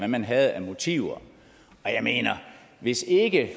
man havde af motiver jeg mener at hvis ikke